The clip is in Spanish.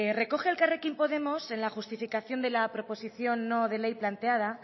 recoge elkarrekin podemos en la justificación de la proposición no de ley planteada